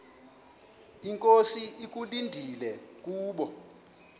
inkosi ekulindele kubo